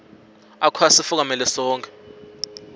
akho asifukamela sonkhe